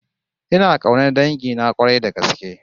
Ina kaunar dangina k'warai da gaske